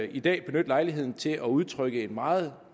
i dag benytte lejligheden til at udtrykke en meget